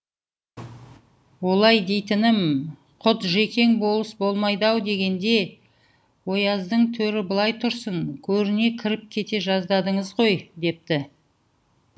олай дейтінім құтжекең болыс болмайды ау дегенде ояздың төрі былай тұрсын көріне кіріп кете жаздадыңыз ғой депті